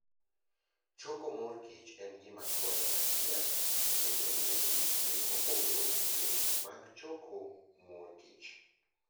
Choko mor kich en gima konyo ahinya e medo ng'eyo e wi yore mopogore opogore mag choko mor kich.